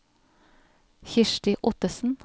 Kirsti Ottesen